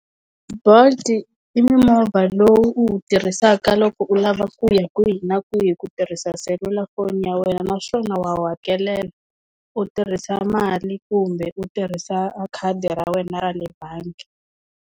Bolt i mimovha lowu u wu tirhisaka loko u lava ku ya kwihi na kwihi ku tirhisa selulafoni ya wena naswona wa wu hakelela u tirhisa mali kumbe u tirhisa khadi ra wena ra le bangi.